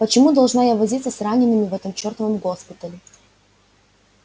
почему должна я возиться с ранеными в этом чертовом госпитале